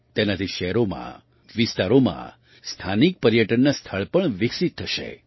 તેનાથી શહેરોમાં વિસ્તારોમાં સ્થાનિક પર્યટનનાં સ્થળ પણ વિકસિત થશે